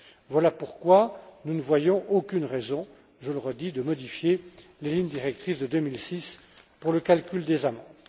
Voilà pourquoi nous ne voyons aucune raison, je le redis, de modifier les lignes directrices de 2006 pour le calcul des amendes.